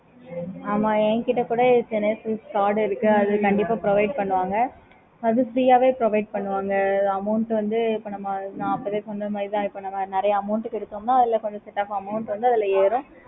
okay mam